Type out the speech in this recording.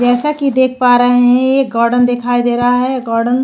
जैसा कि देख पा रहै हैं एक गार्डन दिखाई दे रहा है गार्डन --